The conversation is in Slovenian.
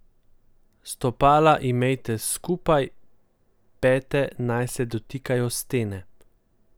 Stopala imejte skupaj, pete naj se dotikajo stene.